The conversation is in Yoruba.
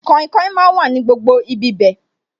Kainkain máa wà ní gbogbo ibi bẹ̀